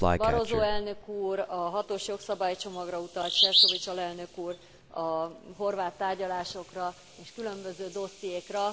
Barroso elnök úr a hatos jogszabálycsomagra utalt, Šefčovič alelnök úr a horvát tárgyalásokra és különböző dossziékra.